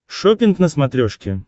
шоппинг на смотрешке